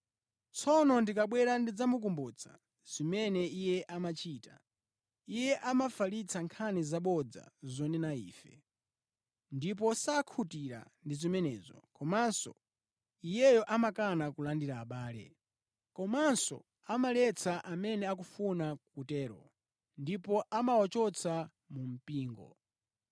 Tsono ndikabwera ndidzakumbutsa zimene iye amachita. Iye amafalitsa nkhani zabodza zonena ife. Ndipo sakhutira ndi zimenezo, komanso iyeyo amakana kulandira abale. Komanso amaletsa amene akufuna kutero, ndipo amawachotsa mu mpingo.